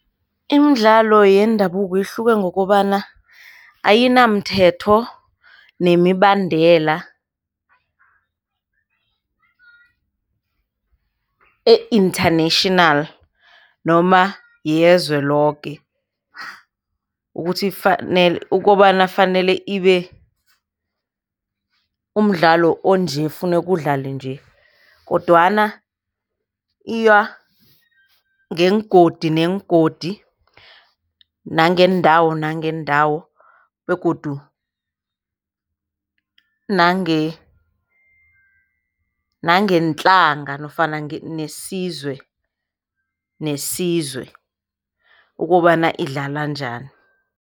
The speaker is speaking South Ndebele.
Imidlalo yendabuko ihluke ngokobana ayinamthetho nemibandela e-international noma yelizwe loke ukuthi fanele ukobana fanele ibe umdlalo onje kufuneka udlale nje, kodwana iya ngeengodi neengodi nangeendawo nangeendawo begodu nangeentlanga nofana isizwe nesizwe ukobana idlala njani.